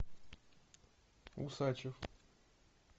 усачев